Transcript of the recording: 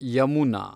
Yamuna